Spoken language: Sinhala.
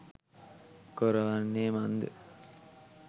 කොර වන්නේ මන්ද?